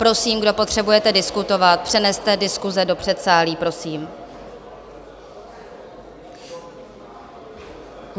Prosím, kdo potřebujete diskutovat, přeneste diskuse do předsálí, prosím.